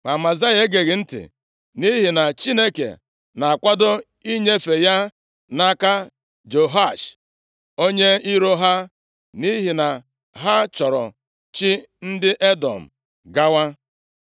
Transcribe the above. Ma Amazaya egeghị ntị, nʼihi na Chineke na-akwado inyefe ya nʼaka Jehoash onye iro ha, nʼihi na ha chọrọ chi ndị Edọm gawa.